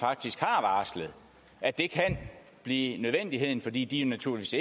faktisk har varslet at det kan blive nødvendigt fordi de naturligvis